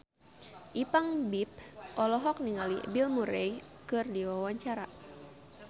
Ipank BIP olohok ningali Bill Murray keur diwawancara